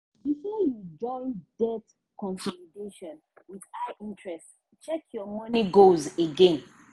before you join debt consolidation with high interest check your money goals again.